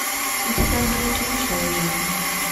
у тебя будет лучшая жизнь